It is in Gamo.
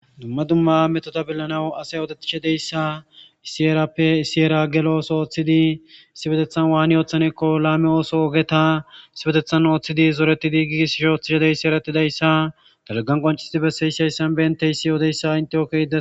Dumma dumma metoda billanawu asay odetishedeyssa isiyerappe isiyera gelooso ooththidi sibetethan waani ooththanekko laame ooso ogeta sibetethan ooththidi zoreti diigiis ishooththishedeyssi eretidayssa dagagan qoncisdibe seeysayssan beynteyssi yoodeyssa intiyoke ide